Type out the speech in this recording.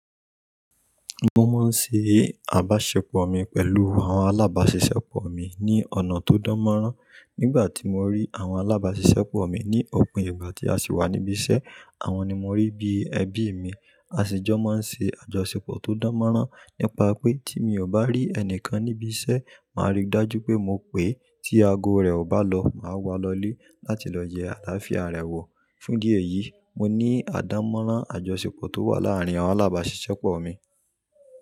Mo máa ń ṣe àbáṣepọ̀ mi pẹ̀lú àwọn alábáṣiṣẹ́pọ̀ mi ní ọ̀nà tó dánmọ́nrán. Nígbà tí mo rí àwọn alábáṣiṣẹ́pọ̀ mi ní òpin ìgbà tí a sì wà níbí iṣẹ́, àwọn ni mo rí bí ẹbí mi. A sì jọ máa ń ṣe àjọṣepọ̀ tó dánmọ́rán. Nípa pé tí mi ò bá rí ẹnìkan níbí iṣẹ́, màá rí i dájú pé mo pè é. Tí ago rẹ̀ ò bá lọ, màá wà á lọlé láti lọ yẹ́ àlàáfíà rẹ̀ wò. Fún idi eyìí, mo ní àdánmọ́nrán àjọṣepọ̀ tó wà láàárín àwọn alábáṣiṣẹ́pọ̀ mi.